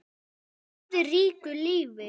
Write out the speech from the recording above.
Hún lifði ríku lífi.